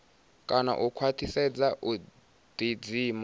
kana u khwaṱhisedza u ḓidzima